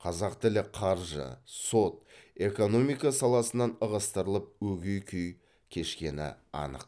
қазақ тілі қаржы сот экономика саласынан ығыстырылып өгей күй кешкені анық